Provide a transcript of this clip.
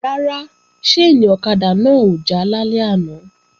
Rárá, ṣáìnì ọ̀kadà náà ò já lálẹ́ àná